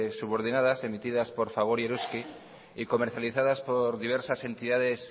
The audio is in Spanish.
subordinadas emitidas por fagor y eroski y comercializadas por diversas entidades